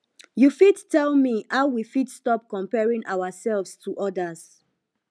you fit tell me how we fit stop comparing ourselves to odas